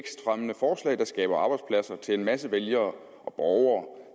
skaber arbejdspladser til en masse vælgere og borgere